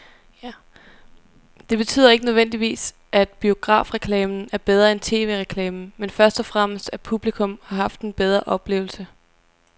Det betyder ikke nødvendigvis, at biografreklamen er bedre end tv-reklamen, men først og fremmest at publikum har haft en bedre oplevelse.